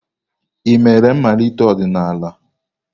Ị mere mmalite ọdịnala?